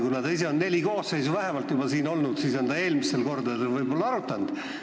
Kuna ta ise on siin olnud juba neli koosseisu, siis on ta seda võib-olla eelmistel kordadel arutanud.